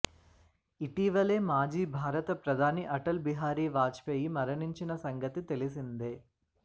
ఇటీవలే మాజీ భారత ప్రధాని అటల్ బిహారీ వాజ్పేయి మరణించిన సంగతి తెలిసిందే